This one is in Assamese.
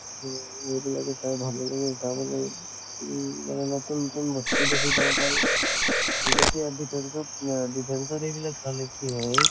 তʼ এইবিলাকে চাই ভালে লাগে তো মানে নতুন নতুন বস্তু দেখি গম পায়। যেতিয়া defence ত আহ defence ৰ এইবিলাক চালে কি হয়